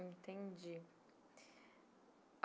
Entendi.